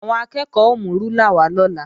Àwọn akẹ́ẹ̀kọ́ ó mú rúlà wá lọ́la